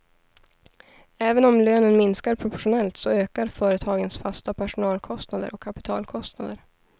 Även om lönen minskar proportionellt så ökar företagens fasta personalkostnader och kapitalkostnader.